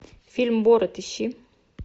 фильм борат ищи